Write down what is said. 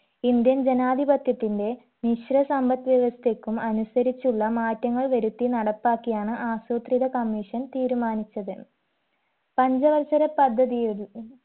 indian ജനാധിപത്യത്തിന്റെ മിശ്ര സമ്പത് വ്യവസ്ഥക്കും അനുസരിച്ചുള്ള മാറ്റങ്ങൾ വരുത്തി നടപ്പാക്കിയാണ് ആസൂത്രിത commission തീരുമാനിച്ചത് പഞ്ചവത്സര പദ്ധതിയൊര്